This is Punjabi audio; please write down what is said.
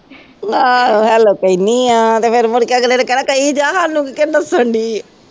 ਆਹੋ hello ਕਹਿੰਦੀ ਹਾਂ ਅਤੇ ਫੇਰ ਮੁੜਕੇ ਅਗਲੇ ਨੇ ਕਹਿਣਾ ਕਹੀ ਜਾ, ਸਾਨੂੰ ਕਿਉਂ ਦੱਸਣ ਦੇਈਂ ਹੈਂ।